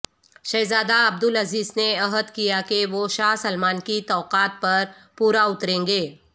شہزادہ عبدالعزیز نے عہد کیا کہ وہ شاہ سلمان کی توقعات پر پورا اتریں گے